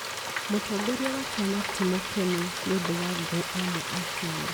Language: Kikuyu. Mũtongoria wa kĩama ti mũkenũ nĩũndũ wa angũ amwe a kĩama